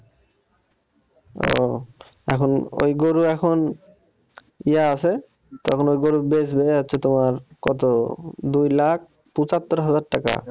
এখন ওই গরু এখন ইয়া আছে তো এখন ওই গরুর হচ্ছে তোমার কত দুই লাখ পঁচাত্তর হাজার টাকা।